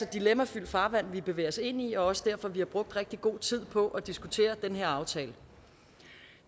dilemmafyldt farvand vi bevæger os ind i også derfor vi har brugt rigtig god tid på at diskutere den her aftale